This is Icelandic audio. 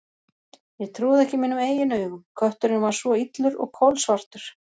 Ég trúði ekki mínum eigin augum: kötturinn var svo illur og kolsvartur.